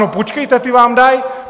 No, počkejte, ty vám dají!